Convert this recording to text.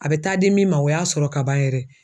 A bɛ taa di min ma o y'a sɔrɔ kaban yɛrɛ.